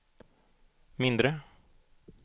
mindre